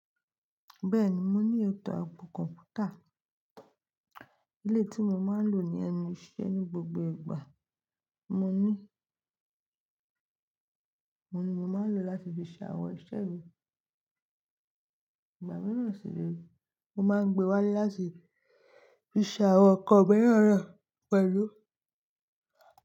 Bẹ́ẹ̀ni, mo ní ètò àbò kọ̀mpútà. Eléyi tí mo máa ń lò ní ẹnu ìṣe ní gbogbo ìgbà. Mo ní, mo ní mo máa ń lò láti fi ṣe awọn iṣẹ́ mi. Ìgbà mìíràn sì re mo máa ń gbé wá le láti fi ṣàwọn kan mìíràn naa pẹ̀lú.